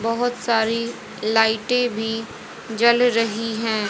बहोत सारी लाइटें भी जल रही हैं।